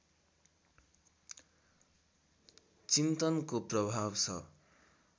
चिन्तनको प्रभाव छ